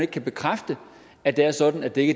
kan bekræfte at det er sådan at det ikke